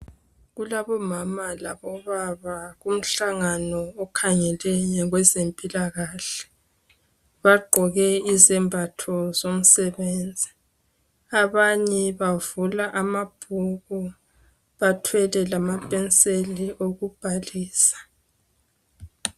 kulabo mama labo baba kumhlangano okhangele kwezempilakahle bagqoke izembatho zomsebenzi abanye bavula amabhuku bathwele lamapenseli okubhalisa